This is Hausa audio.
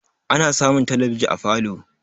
ana samun talabiji a falo